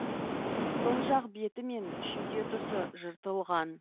сол жақ беті мен шүйде тұсы жыртылған